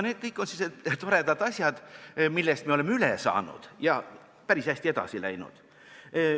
Need kõik on aga sellised toredad asjad, millest me oleme üle saanud ja päris hästi edasi läinud.